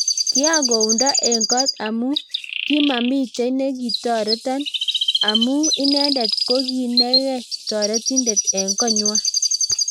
kiakuondo eng kot amu kimamitei ne kitoreton amu inendet kokinekei torentindet eng kongwan